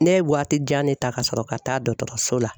Ne ye waati jan de ta ka sɔrɔ ka taa dɔgɔtɔrɔso la.